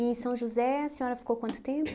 em São José, a senhora ficou quanto tempo?